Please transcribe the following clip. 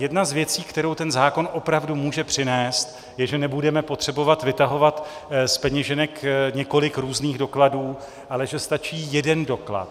Jedna z věcí, kterou ten zákon opravdu může přinést, je, že nebudeme potřebovat vytahovat z peněženek několik různých dokladů, ale že stačí jeden doklad.